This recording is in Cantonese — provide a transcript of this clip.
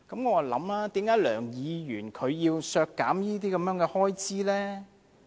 我在想，為何梁議員要削減這些開支呢？